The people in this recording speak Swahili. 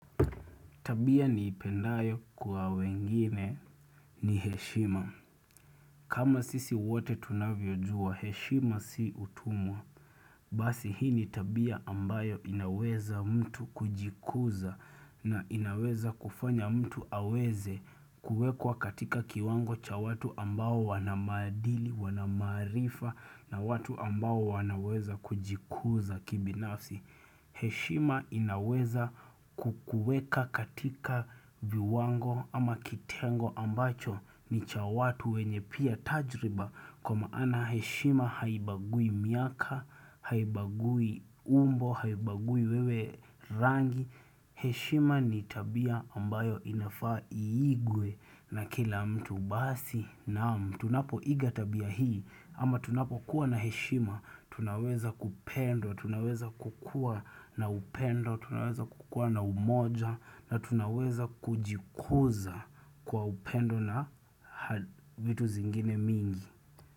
Tabia ni ipendayo kwa wengine ni heshima. Kama sisi wote tunavyojua, heshima si utumwa. Basi hii ni tabia ambayo inaweza mtu kujikuza na inaweza kufanya mtu aweze kuwekwa katika kiwango cha watu ambao wanamadili, wanamarifa na watu ambao wanaweza kujikuza kibinafsi. Heshima inaweza kukuweka katika viwango ama kitengo ambacho ni cha watu wenye pia tajriba kwa maana heshima haibagui miaka, haibagui umbo, haibagui wewe rangi. Heshima ni tabia ambayo inafaa iigwe na kila mtu basi naam tunapo iga tabia hii ama tunapo kuwa na heshima, tunaweza kupenda, tunaweza kukua na upendo, tunaweza kukua na umoja na tunaweza kujikuza kwa upendo na vitu zingine mingi.